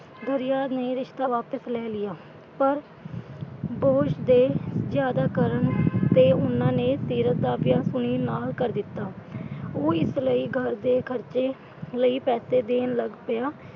. ਨੇ ਰਿਸ਼ਤਾ ਵਾਪਿਸ ਲੈ ਲਿਆ ਪਰ boss ਦੇ ਜਿਆਦਾ ਕਰਨ ਤੇ ਉਨ੍ਹਾਂ ਨੇ ਸੀਰਤ ਦਾ ਵਿਆਹ ਸੁਨੀਲ ਨਾਲ ਕਰ ਦਿੱਤਾ। ਉਹ ਇਸ ਲਈ ਘਰ ਦੇ ਖ਼ਰਚੇ ਲਈ ਪੈਸੇ ਦੇਣ ਲੱਗ ਪਿਆ।